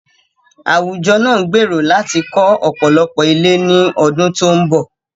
Àwùjọ náà gbèrò láti kọ́ ọ̀pọ̀lọpọ̀ ilé ní ọdún tó ń bọ̀.